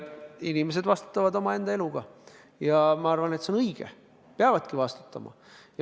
Inimesed vastutavad omaenda eluga ja ma arvan, et see on õige, peavadki vastutama.